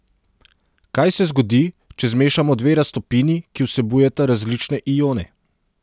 Kaj se zgodi, če zmešamo dve raztopini, ki vsebujeta različne ione?